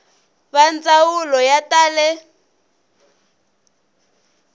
va ndzawulo ya ta le